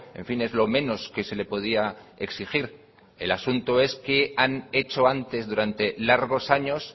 en fin es lo menos que se le podía exigir el asunto es qué han hecho antes durante largos años